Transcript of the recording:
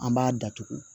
An b'a datugu